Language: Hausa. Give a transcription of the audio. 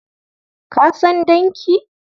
Ka san danki?